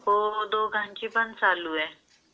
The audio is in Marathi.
हो दोघांची पण चालू आहे.